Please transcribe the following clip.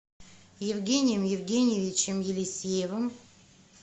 евгением евгеньевичем елисеевым